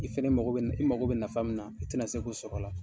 I fɛnɛ mako bɛ, i mako bɛ nafa min na i ti na se k'o sɔrɔ a la.